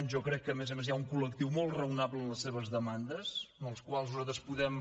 jo crec que a més a més hi ha un col·lectiu molt raonable en les seves demandes amb els quals nosaltres podem